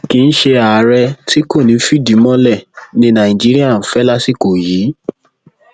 kì í ṣe àárẹ tí kò ní í fìdí mọlẹ ni nàìjíríà ń fẹ lásìkò yìí